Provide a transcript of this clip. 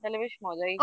তাহলে বেশ মজাই